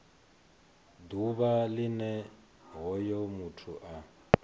ḓuvha line hoyo muthu a